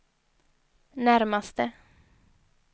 närmaste